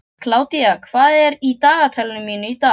Kládía, hvað er í dagatalinu mínu í dag?